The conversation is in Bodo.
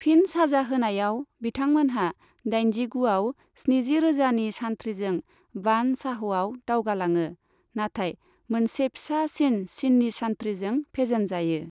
फिन साजा होनायाव, बिथांमोनहा दाइनजिगुआव स्निजिरोजानि सान्थ्रिजों बान चाअ'आव दावगालाङो, नाथाय मोनसे फिसासिन चिनी सान्थ्रिजों फेजेनजायो।